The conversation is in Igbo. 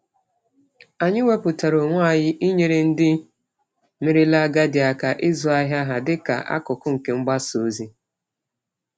Anyị wepụtara onwe anyị inyere ndị merela agadi aka ịzụ ahịa ha dị ka akụkụ nke mgbasa ozi.